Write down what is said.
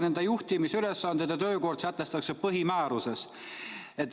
Nende juhtimisülesanded ja töökord sätestatakse põhimääruses.